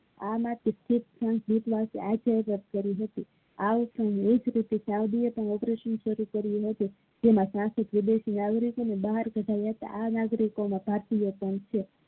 આમાં એક operation સારું કરિયું હતું જેમાં આર્થિક વિદેશી નાગરિકો અને બહાર રેતા આ નાગરિક માં ભારતીય પણ છે.